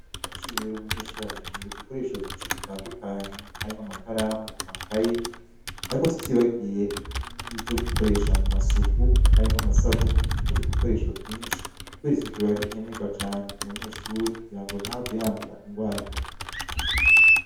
Kw'ishure rero umunyeshuri arakinera udukoresho twinshi dutandukanye harimwo amakaramu amakaye, ariko tutibagiye ni vyo gukoresha mu masuku harimwo amasabuni nutundi dukoresho twinshi kubera isuku aba ari nkenerwa cane ku munyeshuri kugira ngo ntihave yandura ingwara.